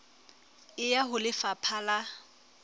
e ya ho lefapha la